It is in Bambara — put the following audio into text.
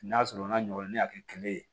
N'a sɔrɔ n'a ɲɔgɔnna ne y'a kɛ kɛlɛ ye